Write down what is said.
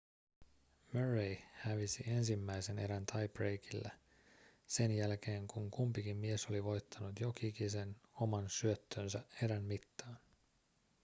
murray hävisi ensimmäisen erän tie-breakilla sen jälkeen kun kumpikin mies oli voittanut jok'ikisen oman syöttönsä erän mittaan